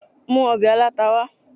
mu òbè alatá wa